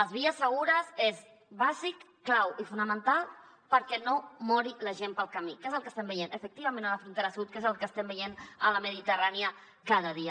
les vies segures són bàsiques claus i fonamentals perquè no mori la gent pel camí que és el que estem veient efectivament a la frontera sud que és el que estem veient a la mediterrània cada dia